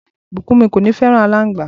Bukunmi kò ní fẹràn alangba.